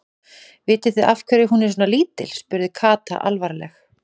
Vitið þið af hverju hún er svona lítil? spurði Kata alvarleg.